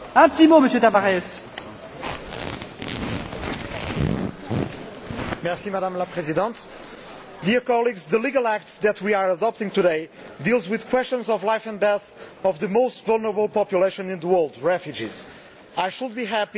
Madam President, the legal act that we are adopting today deals with questions of life and death for the most vulnerable population in the world refugees. I should be happy but I am not, because it has taken us two years to reach this compromise.